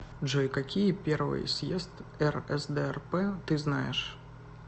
джой какие первый съезд рсдрп ты знаешь